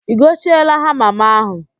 I gochieela hama m ahụ?